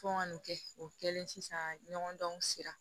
Fo ka nin kɛ o kɛlen sisan ɲɔgɔn dɔnw sira